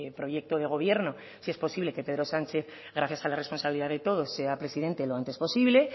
proyecto de gobierno si es posible que pedro sánchez gracias a la responsabilidad de todos sea presidente lo antes posible